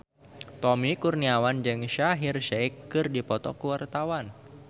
Tommy Kurniawan jeung Shaheer Sheikh keur dipoto ku wartawan